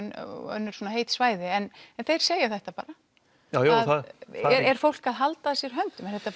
önnur heit svæði en þeir segja þetta bara er fólk að halda að sér höndum er